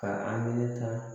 Ka a meletan